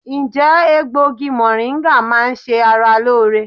Ǹjẹ́ egbògi mọ̀ríńgà máa ń ṣe ara lóore?